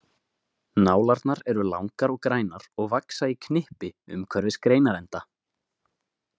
Nálarnar eru langar og grænar og vaxa í knippi umhverfis greinarenda.